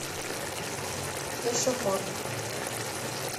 пешеход